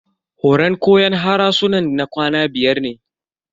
Horan koyon harsunan na kwana biyar ne.